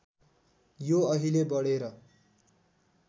यो अहिले बढेर